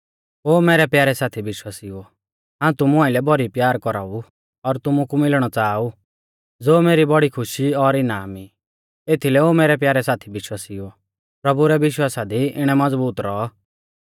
ओ मैरै प्यारै साथी विश्वासिउओ हाऊं तुमु आइलै भौरी प्यार कौराऊ और तुमु कु मिलणौ च़ाहा ऊ ज़ो मेरी बौड़ी खुशी और इनाम ई एथीलै ओ मैरै प्यारै साथी विश्वासिउओ प्रभु रै विश्वासा दी इणै मज़बूत रौऔ